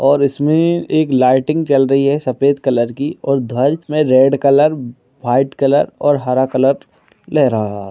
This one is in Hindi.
और इसमें एक लाइटिंग चल रही है सफ़ेद कलर की और ध्वज मे रेड कलर व्हाईट कलर और हरा कलर लहरा रहा हैं।